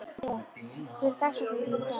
Adríel, hver er dagsetningin í dag?